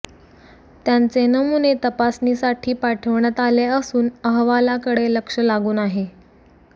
त्यांचे नमुने तपासणीसाठी पाठविण्यात आले असून अहवालाकडे लक्ष लागून आहे